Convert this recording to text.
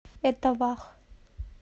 этавах